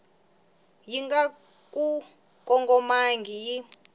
yi nga ku kongomangiki yi